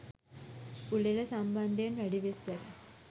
උළෙල සම්බන්ධයෙන් වැඩි විස්තර